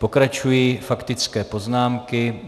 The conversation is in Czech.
Pokračují faktické poznámky.